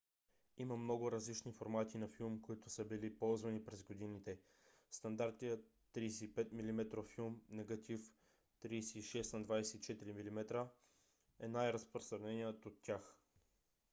има много различни формати на филм които са били използвани през годините. стандартният 35 mm филм негатив 36 на 24 mm е най-разпространеният от тях